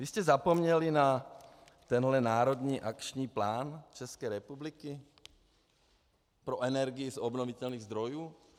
Vy jste zapomněli na tenhle národní akční plán České republiky pro energii z obnovitelných zdrojů?